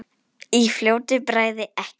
Í fljótu bragði ekki.